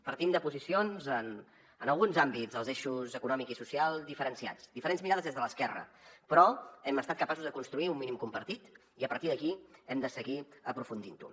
partim de posicions en alguns àmbits els eixos econòmic i social diferenciats diferents mirades des de l’esquerra però hem estat capaços de construir un mínim compartit i a partir d’aquí hem de seguir aprofundint ho